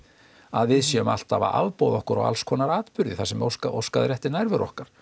að við séum alltaf að afboða okkur á alls konar atburði þar sem óskað óskað er eftir nærveru okkar